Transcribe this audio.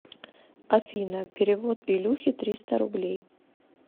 афина перевод илюхе триста рублей